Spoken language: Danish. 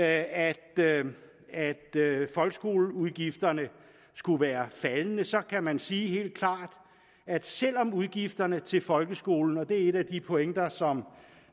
at folkeskoleudgifterne skulle være faldende så kan man sige at selv om udgifterne til folkeskolen og det er en af de pointer som